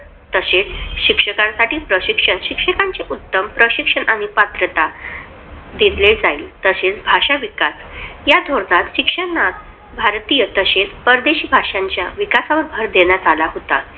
तशेच शिक्षकांसाठी प्रशिक्षण शिक्षकांचे उत्तम प्रशिक्षण आणि पात्रता घेतले जाई. तशेच भाषा विकास या धोरणात शिक्षणात भारतीय तसेच परदेशी भाषांच्या विकासावर भर देण्यात आला होता.